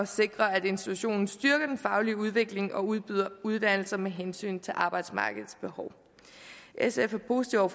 sikre at institutionen styrker den faglige udvikling og udbyder uddannelser med hensyn til arbejdsmarkedets behov sf er positive